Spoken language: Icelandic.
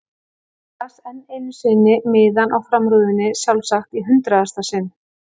Hann las enn einu sinni miðann á framrúðunni, sjálfsagt í hundraðasta sinn.